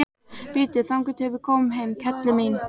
Bíddu þangað til við komum heim, kelli mín.